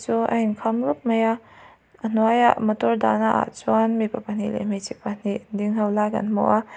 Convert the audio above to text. a inkham rawp mai a a hnuaiah motor dahna ah chuan mipa pahnih leh hmeichhe pahnih ding ho lai kan hmu a.